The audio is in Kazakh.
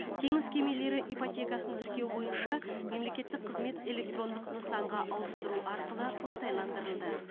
теңіз кемелері ипотекасын тіркеу бойынша мемлекеттік қызмет электрондық нысанға ауыстыру арқылы оңтайландырылды